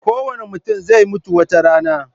Kowane mutum zai mutu wata rana.